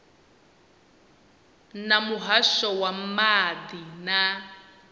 na muhasho wa maḓi na